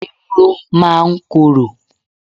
Ewuro máa ń korò.